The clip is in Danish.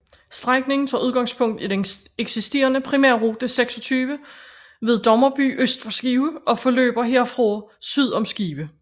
Strækningen tager udgangspunkt i den eksisterende Primærrute 26 ved Dommerby øst for Skive og forløber herfra syd om Skive